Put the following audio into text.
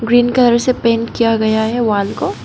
Green colour से paint किया गया वाल को।